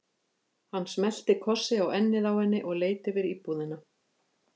Hann smellti kossi á ennið á henni og leit yfir íbúðina.